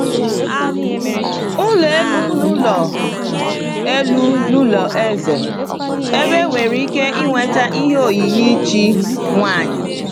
Ụlọ elu n’ụlọ elu n’ụlọ eze, ebe e nwere ike ịnweta ihe oyiyi chi nwanyị.